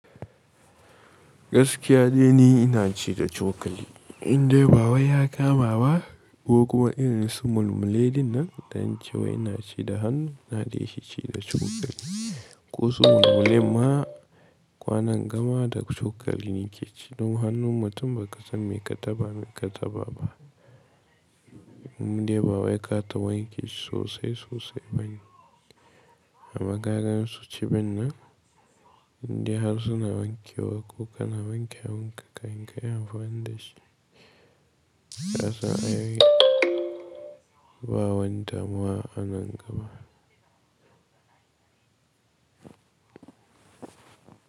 Gaskiya dai ni ina ci da cokali. In dai ba wai ya kama ba ko kuma irin su mulmule ɗin nan, don cewa ina ci da hannu ina dai shi ci da cokali. Ko su mulmulen ma kwanan gama da cokali nake ci. Don hannun mutum ba ka san me ka taɓa, me ka taɓa ba. Indai ba wai kata wanke shi sosai sosai bane. Amma kaga su cibin nan, indai har suna wanke wa ko kana wanke hannunka, in ka yi amfani da shi. A sa'a yayi ba wani damuwa a nan gaba.